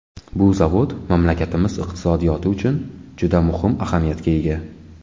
Bu zavod mamlakatimiz iqtisodiyoti uchun juda muhim ahamiyatga ega.